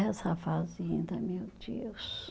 Essa fazenda, meu Deus.